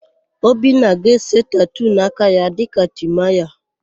Obinna ga-ese tatuu n'aka ya dịka Timaya.